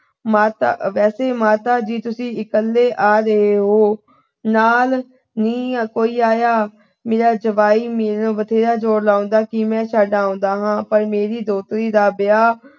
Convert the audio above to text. ਮਾਤਾ ਅਹ ਵੈਸੇ ਮਾਤਾ ਜੀ ਤੁਸੀਂ ਇੱਕਲੇ ਆ ਰਹੇ ਓ। ਨਾਲ ਨਹੀਂ ਕੋਈ ਆਇਆ। ਮੇਰਾ ਜਵਾਈ ਬਥੇਰਾ ਮੈਨੂੰ ਜੋਰ ਲਾਉਂਦਾ ਕਿ ਮੈਂ ਛੱਡ ਆਉਂਦਾ ਹਾਂ ਪਰ ਮੇਰੀ ਦੋਤਰੀ ਦਾ ਵਿਆਹ